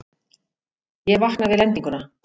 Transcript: Ég vakna við lendinguna.